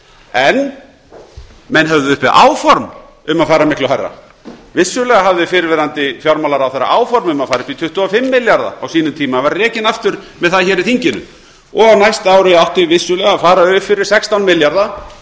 en menn höfðu uppi áform um að fara miklu hærra vissulega hafði fyrrverandi fjármálaráðherra áform um að fara upp í tuttugu og fimm milljarða á sínum tíma en var rekinn aftur með það hér í þinginu á næsta ári átti vissulega að fara upp fyrir sextán milljarða